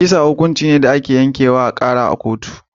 Kisa fadin hukunci ne da ake yanke akan Kara a kotu.